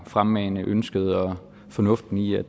fremmane ønsket og fornuften i at